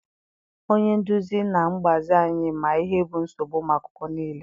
Onye nduzi na mgbazi anyị ma ihe bụ nsogbu ụmụ akwụkwọ niile.